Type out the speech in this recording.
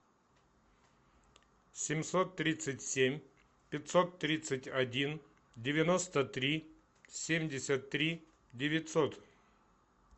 семьсот тридцать семь пятьсот тридцать один девяносто три семьдесят три девятьсот